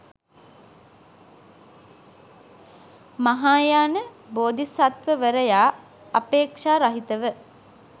මහායාන බෝධිසත්වවරයා අපේක්‍ෂා රහිතව